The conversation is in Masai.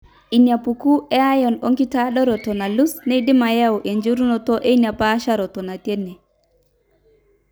inaapuku e iron oenkitadooroto nalus neidim ayau enjurunoto ena paasharoroto natii ene.